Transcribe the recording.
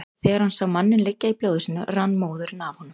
Þegar hann sá manninn liggja í blóði sínu rann móðurinn af honum.